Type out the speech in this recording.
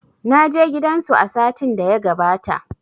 Naje gidan zu a satin da ya gabata